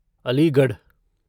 Aligarh